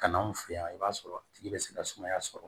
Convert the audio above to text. Ka na anw fɛ yan i b'a sɔrɔ a tigi bɛ se ka sumaya sɔrɔ